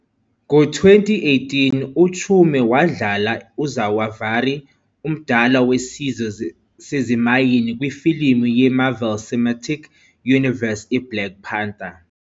Ngo-2018, uChiume wadlala uZawavari, omdala wesizwe sezimayini kwifilimu ye-Marvel Cinematic Universe "I-Black Panther".